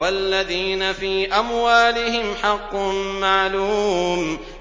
وَالَّذِينَ فِي أَمْوَالِهِمْ حَقٌّ مَّعْلُومٌ